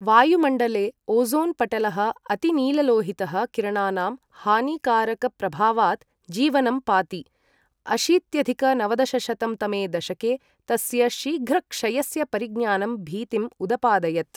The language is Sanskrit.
वायुमण्डले ओज़ोन् पटलः अति नीललोहितः किरणानां हानिकारकप्रभावात् जीवनं पाति, अशीत्यधिक नवदशशतं तमे दशके तस्य शीघ्रक्षयस्य परिज्ञानं भीतिम् उदपादयत्।